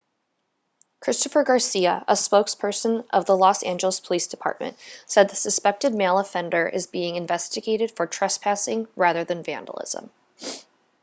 christopher garcia a spokesperson of the los angeles police department said the suspected male offender is being investigated for trespassing rather than vandalism